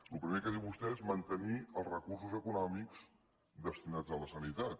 el primer que diu vostè és mantenir els recursos econòmics destinats a la sanitat